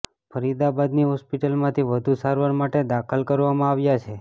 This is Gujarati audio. ફરીદાબાદની હોસ્પિટલમાંથી વધુ સારવાર માટે દાખલ કરવામાં આવ્યા છે